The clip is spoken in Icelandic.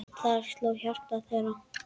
Þar sló hjarta þeirra.